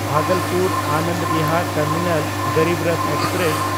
Bhagalpur-Anand Bihar terminal Garib Rath express